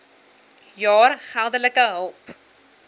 jaar geldelike hulp